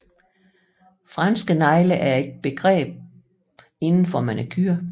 Fransk negle er et begreb inden for manicure